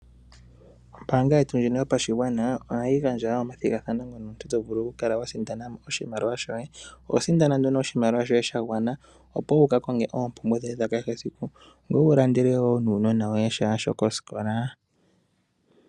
Ombaanga yetu yopashigwana ohayi gandja omathigathano mono omuntu to vulu okukala wa sindana mo oshimaliwa shoye. Oho sindana nduno oshimaliwa shoye sha gwana, opo wu vule oku ka konga oompumbwe dhoye dha kehe esiku nowu lande uunona woye sha shokosikola.